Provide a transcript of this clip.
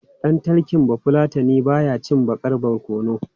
Ɗan talking Bafulatani ba ya cin baƙar barkono.